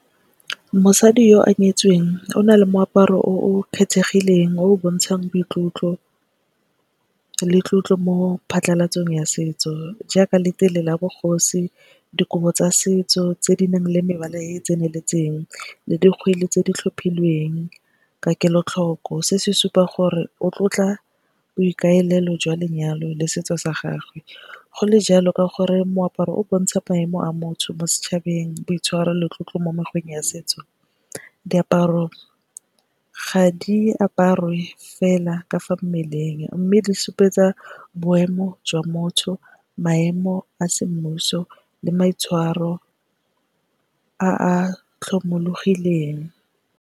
Mosadi yo o nyetsweng o na le moaparo o o kgethegileng, o o bontshang boitlotlo le tlotlo mo phatlhalatsong ya setso. Jaaka letele la bogosi, dikobo tsa setso tse di nang le mebala e e tseneletseng le dikgwedi tse di tlhophilweng ka kelotlhoko. Se se supa gore o tlotla boikaelelo jwa lenyalo le setso sa gagwe. Go le jalo ka gore moaparo o bontsha maemo a motsho mo setšhabeng boitshwaro le tlotlo mo mekgweng ya setso. Diaparo ga di aparwe fela ka fa mmeleng mme di supetsa boemo jwa motho, maemo a semmuso le maitshwaro a a tlhomologileng.